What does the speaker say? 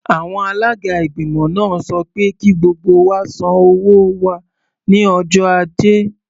Àwọn alága ìgbìmọ̀ náà sọ pé kí gbogbo wa san owó wa ní ọjọ́ Ajé.